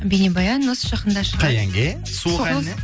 бейнебаян осы жақында шығады қай әнге суық әніне